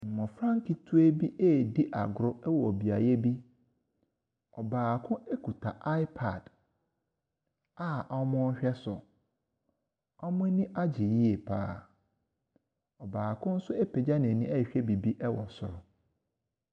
Mmɔfra nketewa bi ɛredi agoro ɛwɔ beaeɛ bi, ɔbaako ɛkita iPad a wɔrehwɛ so. Wɔn ani agye yie pa ara. Ɔbaako nso apagya n’ani ɛrehwɛ biribi ɛwɔ soro.